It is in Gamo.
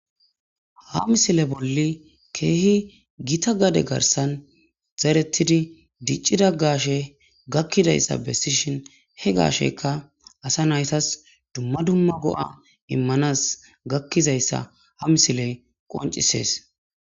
Ha misile bolli keehi githa gade garssan zereththidi diccida gaashee gakkida iza bessishin he gaasheekka asa na7ithas dumma dumma go7aa immanas gakkizayssa ha misilee qonccissees.